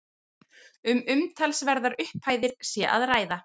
Um umtalsverðar upphæðir sé að ræða